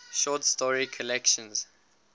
short story collections